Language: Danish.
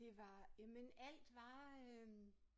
Det var jamen alt var øh